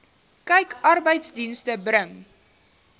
kyk arbeidsdienste bring